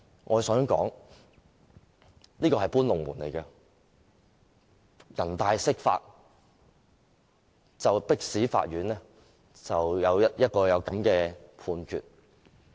我想指出，這是"搬龍門"，人大釋法迫使法院作出這樣的判決。